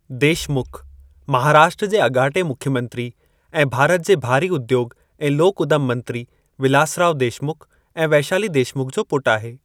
देशमुख महाराष्ट्र जे अॻाटे मुख्यमंत्री ऐं भारत जे भारी उद्योॻु ऐं लोक उदमु मंत्री विलासराव देशमुख ऐं वैशाली देशमुख जो पुटु आहे।